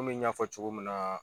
Komi n y'a fɔ togo min na